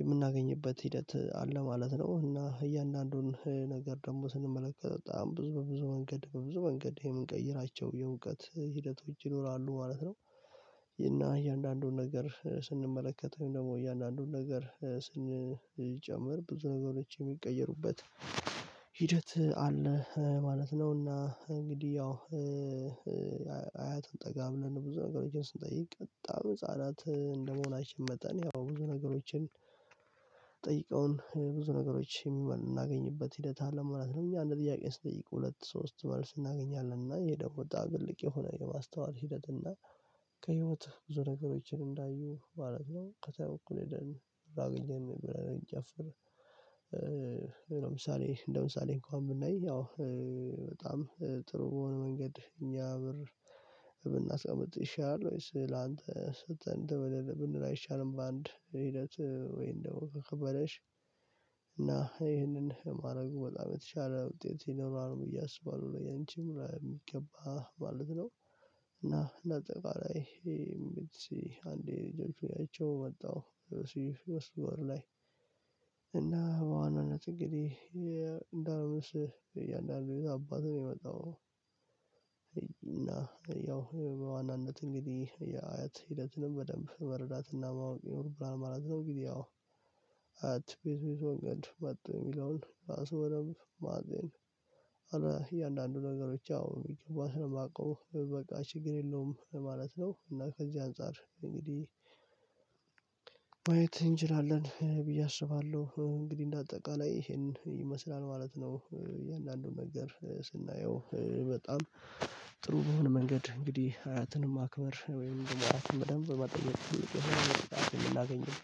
የምናገኝበት ሂደት አለ ማለት ነው። እና እያንዳንዱን ነገር ደግሞ ስንመለከት በጣም ብዙ በብዙ መንገድ በብዙ መንገድ የምንቀይራቸው የእውቀት ሂደቶች ይኖራሉ ማለት ነው። እና እያንዳንዱን ነገር ስንመለከተው ደግሞ እያንዳንዱን ነገር ስንጨምር ብዙ ነገሮች የሚቀየሩበት ሂደት አለ ማለት ነውና እንግዲህ ያው አያትን ጠጋ ብለን ብዙ ነገሮችን ስንጠይቅ በጣም ህፃናት እንደመሆናችን መጠን ያው ብዙ ነገሮችን ጠይቀውን ብዙ ነገሮች የምናገኝበት ሂደት አለም ማለት ነው። እኛ እንደ ጥያቄ ስትል ሁለት ሶስት መልስ እናገኛለን እና ይሄ ደሞ በጣም ትልቅ የሆነ የማስተዋል ሂደት እና ከህይወት ብዙ ነገሮችን እንዳዩ ማለት ነው። ከሰው እኩል የደልን አገኘን ብለን እንጨፍር። ምን ምሳሌ እንደምሳሌ እንኳን ብናይ አዎ በጣም ጥሩ በሆነ መንገድ እኛ ብር ብናስቀምጥ ይሻላል። ወይስ ላንተ ስተን ብንል አይሻልም በአንድ ሂደት ወይንም ደግሞ ከከበደሽ እና ይህንን ማድረጉ በጣም የተሻለ ውጤት ይኖራል ብዬ አስባለሁ ያንቺም ለሚገባ ማለት ነው። እና እና እንዳጠቃላይ ይሄ ምትሴ አንዴ ጀምሮ ያይቼው መጣሁ ስዊስ ወር ላይ እና በአንድ አመት እንግዲህ እንዳልመስል እያንዳንዱ ልይ አባት ነው የሚመጣው። እና ያው በዋናነት እንግዲህ አያት ሂደትንም በደንብ መረዳትና ማወቅ ይኖርብናል ማለት ነው። ግን ያው በየት በየት መንገድ መጡ የሚለውን ራሱ በደንብ ማጤን እያንዳንዱ ነገሮች አዎ የማውቀው በቃ ችግር የለውም ማለት ነው። እና ከዚህ አንፃር እንግዲህ ማየት እንችላለን ብዬ አስባለሁ። እንግዲህ እንደ አጠቃላይ ይሄን ይመስላል ማለት ነው። እያንዳንዱን ነገር ስናየው በጣም ጥሩ በሆነ መንገድ እንግዲህ አያትንም አክበር ወይም ደግሞ አያትንም በደንብ መጠየቅ ይላል ምን ላገኘው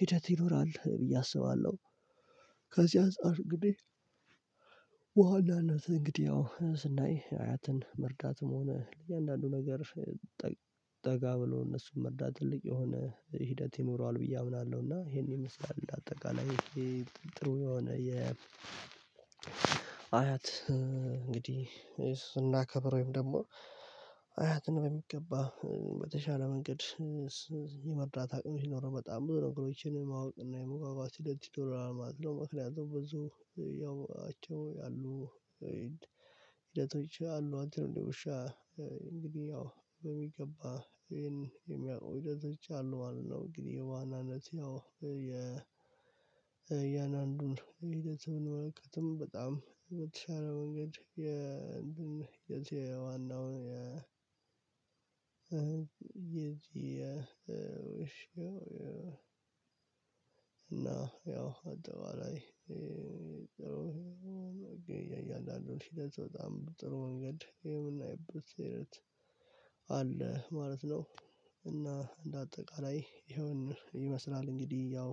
ሂደት ይኖራል ብዬ አስባለሁ። ከዚያ አንፃር እንግዲህ በዋናነት እንግዲህ ያው ስናይ አያትን መርዳትም ሆነ ለእያንዳንዱ ነገሮች ጠጋ ብሎ እነሱን መርዳት ትልቅ የሆነ ሂደት ይኖረዋል ብዬ አምናለሁ። እና ይሄን ይመስላል አጠቃላይ ይሄ ጥሩ የሆነ የ አያት እንግዲህ ስናከብር ወይም ደግሞ አያትን በሚገባ በተሻለ መንገድ የመርዳት አቅም ይኖረው በጣም ብዙ ነገሮችን ማወቅ እና የመጓጓት ሂደት ይኖረዋል ማለት ነው። ምክንያቱም ብዙ ያው ሂደቶች አሉ አንተ ነው እንደ ውሻ እንግዲህ ያው በሚገባ ይሄን የሚያውቀው ሂደቶች አሉ ማለት ነው። እንግዲህ የዋናነት ያው እያንአንዱን ሂደት ብንመለከትም በጣም በተሻለ መንገድ የዋናውን እና ያው አጠቃላይ የእያንዳንዱን ሂደት በጣም ጥሩ መንገድ የምናይበት ሂደት አለ ማለት ነው። እና እንደአጠቃላይ ይሄን ይመስላል እንግዲህ ያው